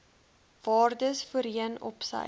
waardes voorheen opsy